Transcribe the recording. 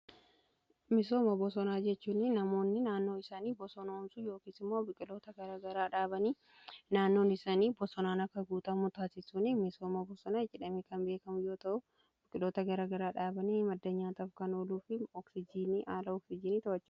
Misooma bosonaa jechuunni namoonni naannoo isaanii bosonoomsu yookiisi mmoo biqilaa naannoon isaanii bosonaan akka guutaa taasisuun misooma bosonaa jedhame kan beekamu yoo ta'u biqiloota garagaraa dhaabanii madda nyaataaf kan ooluu fi ooksijiinii oomishuuf ta'u.